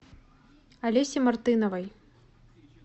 олесе мартыновой